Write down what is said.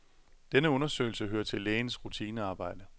Denne undersøgelse hører til lægens rutinearbejde.